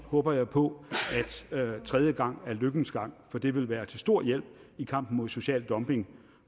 håber jeg på at tredje gang er lykkens gang for det vil være til stor hjælp i kampen mod social dumping